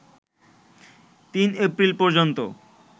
৩ April পর্যন্ত